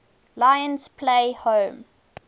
lions play home